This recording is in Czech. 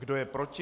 Kdo je proti?